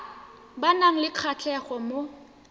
ba nang le kgatlhego mo